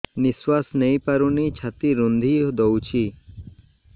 ନିଶ୍ୱାସ ନେଇପାରୁନି ଛାତି ରୁନ୍ଧି ଦଉଛି